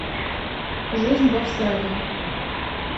жизнь в австралии